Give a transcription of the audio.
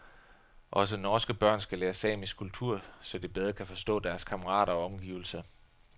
Også norske børn skal lære samisk kultur, så de bedre kan forstå deres kammerater og omgivelser.